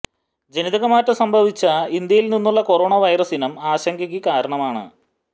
ജനിതകമാറ്റം സംഭവിച്ച ഇന്ത്യയിൽ നിന്നുള്ള കൊറോണ വൈറസ് ഇനം ആശങ്കയ്ക്ക് കാരണമാണെന